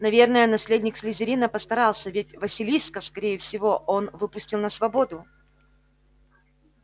наверное наследник слизерина постарался ведь василиска скорее всего он выпустил на свободу